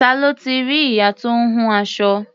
Ta ló ti rí ìyá tó ń hun aṣọ?